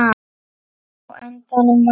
Á endanum var